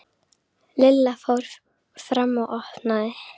Lilla fór fram og opnaði.